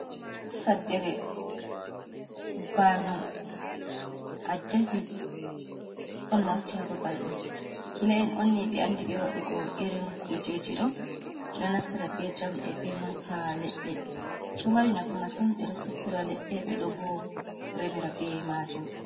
Saddere, bano, addahi on mofti ha babal ɗo. Kila’en onni ɓe andi be waɗugo irin kujeji ɗo. Ɗo naftira be jamɗe be nanta leɗɗe ɗo mari nafu masin beɗo soppira leɗɗe ɓe ɗo bo remira be majum.